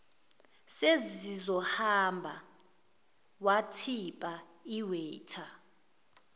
sesizohamba wathipa iwaiter